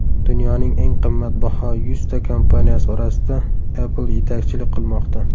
Dunyoning eng qimmatbaho yuzta kompaniyasi orasida Apple yetakchilik qilmoqda.